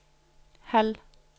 halv